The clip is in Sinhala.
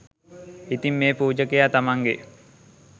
ඉතින් මේ පූජකයා තමන්ගේ